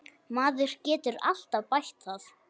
Maður getur alltaf bætt það.